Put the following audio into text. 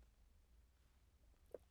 DR2